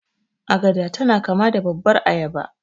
Agada tana kama da babbar ayaba.